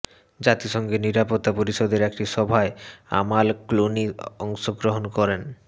জাতিসংঘের নিরাপত্তা পরিষদের একটি সভায় আমাল ক্লুনি অংশগ্রহণ করেন